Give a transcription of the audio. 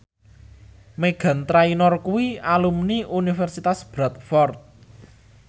Meghan Trainor kuwi alumni Universitas Bradford